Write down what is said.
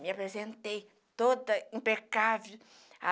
Me apresentei toda impecável.